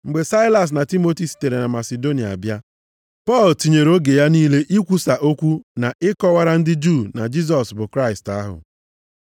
Mgbe Saịlas na Timoti sitere na Masidonia bịa, Pọl tinyere oge ya niile ikwusa okwu na ịkọwara ndị Juu na Jisọs bụ Kraịst ahụ.